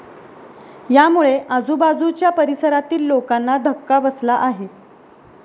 यामुळे आजूबाजुच्या परिसरातील लोकांना धक्का बसला आहे.